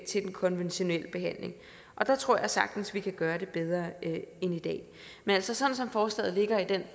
til den konventionelle behandling og der tror jeg sagtens vi kan gøre det bedre end i dag men altså sådan som forslaget ligger i den